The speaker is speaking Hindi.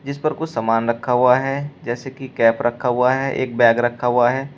इस पर कुछ सामान रखा हुआ है जैसे कि कैप रखा हुआ है एक बैग रखा हुआ है।